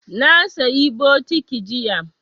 Na sayi bokiti jiya